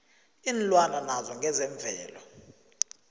iinlwana naso ngesemvelo